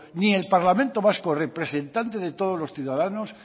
ni el parlamento vasco representante de los ciudadanos